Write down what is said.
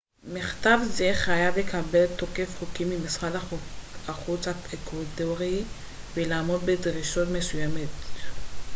מכתב זה חייב לקבל תוקף חוקי ממשרד החוץ האקוודורי ולעמוד בדרישות מסוימות